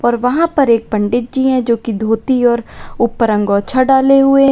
और वहां पर एक पंडित जी हैं जो की धोती और ऊपर अंगोछा डाले हुए हैं।